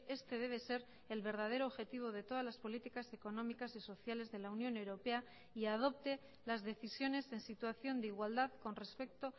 este debe ser el verdadero objetivo de todas las políticas económicas y sociales de la unión europea y adopte las decisiones en situación de igualdad con respecto